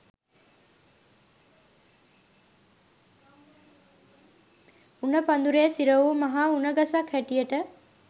උණ පඳුරේ සිර වූ මහා උණ ගසක් හැටියට